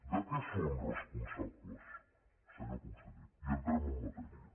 de què són responsables senyor conseller i entrem en matèria